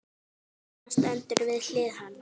Amma stendur við hlið hans.